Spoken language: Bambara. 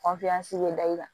bɛ da i kan